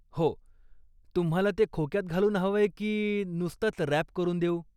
हो, तुम्हाला ते खोक्यात घालूंन हवय की नुसतच रॅप करून देऊ?